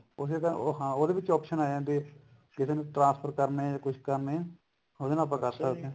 ਉਸੇ ਤਰ੍ਹਾਂ ਹਾਂ ਉਹਦੇ ਵਿੱਚ option ਆ ਜਾਂਦੀ ਹੈ ਕਿਸੇ ਨੂੰ transfer ਕਰਨੇ ਜਾ ਕੁੱਛ ਕਰਨੇ ਉਹਦੇ ਨਾਲ ਆਪਾ ਕਰ ਸਕਦੇ ਹਾਂ